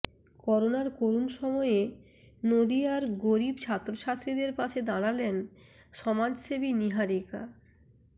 করোনার করুণ সময়ে নদিয়ার গরীব ছাত্রছাত্রীদের পাশে দাঁড়ালেন সমাজসেবী নীহারিকা